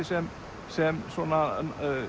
sem sem svona